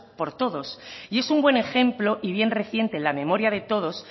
por todos es un buen ejemplo y bien reciente en la memoria de todos